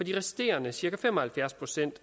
de resterende cirka fem og halvfjerds procent